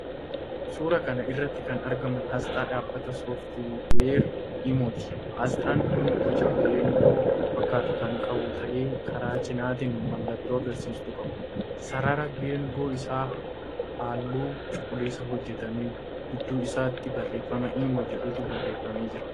Suuraa kana irratti kan argamu aasxaa dhaabbata 'sooftweerii' Imo'ti. Aasxaan kun boca geengoo fakkaatu kan qabu ta'ee, karaa cinaatiin mallattoo agarsiistuu qaba. Sararri geengoo isaa halluu cuquliisaan hojjetame. Gidduu isaatti barreefama 'imo' jedhutu barreeffamee jira.